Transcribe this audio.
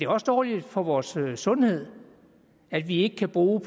også dårligt for vores sundhed at vi ikke kan bruge